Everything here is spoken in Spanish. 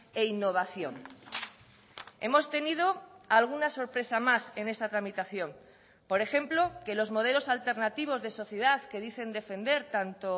e innovación hemos tenido alguna sorpresa más en esta tramitación por ejemplo que los modelos alternativos de sociedad que dicen defender tanto